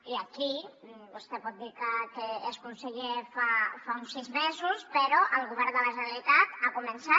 i aquí vostè pot dir que és conseller fa uns sis mesos però el govern de la generalitat ha començat